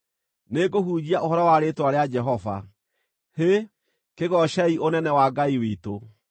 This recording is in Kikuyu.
Nĩngũhunjia ũhoro wa Rĩĩtwa rĩa Jehova. Hĩ, kĩgoocei ũnene wa Ngai witũ!